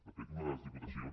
de fet una de les diputacions